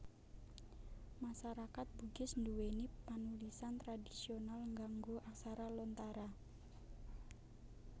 Masarakat Bugis nduwèni panulisan tradhisional nganggo aksara Lontara